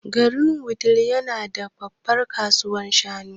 Garin Wudil yana da babbar kasuwar shanu.